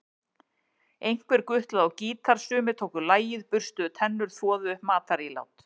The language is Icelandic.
Einhver gutlaði á gítar, sumir tóku lagið, burstuðu tennur, þvoðu upp matarílát.